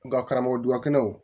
Nga karamɔgɔ dubakɔnɔ